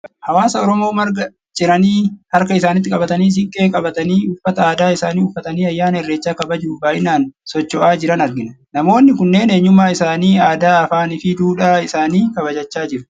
Hawaasa Oromoo marga ciranii harka isaaniitti qabatanii, siinqee qabatanii, uffata aadaa isaanii uffatanii ayyaana irreechaa kabajuuf baay'inaan socho'aa jiran argina. Namoonni kunneen eenyummaa isaanii, aadaa, afaan fi duudhaa isaanii kabajachaa jiru.